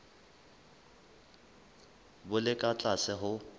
bo le ka tlase ho